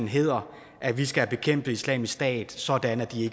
hedder at vi skal bekæmpe islamisk stat sådan at de